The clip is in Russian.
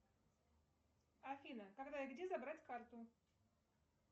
афина когда и где забрать карту